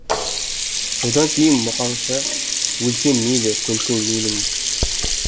содан кейін мұқаңша өлсем мейлі көмсең мейлің